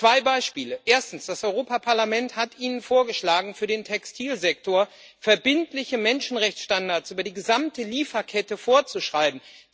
Zwei Beispiele Erstens, das Europäische Parlament hat Ihnen vorgeschlagen, für den Textilsektor verbindliche Menschenrechtsstandards über die gesamte Lieferkette vorzuschreiben.